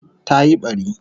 Ta yi bari